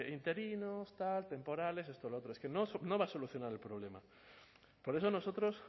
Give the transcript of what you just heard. interinos tal temporales esto lo otro es que no va a solucionar el problema por eso nosotros